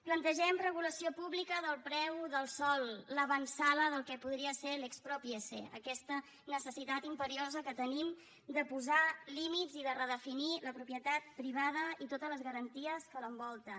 plantegem regulació pública del preu del sòl l’avantsala del que podria ser l’piese aquesta necessitat imperiosa que tenim de posar límits i de redefinir la propietat privada i totes les garanties que l’envolten